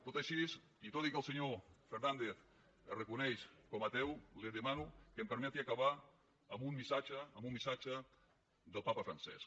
tot i així i tot i que el senyor fernàndez es reconeix com a ateu li demano que em permeti acabar amb un missatge del papa francesc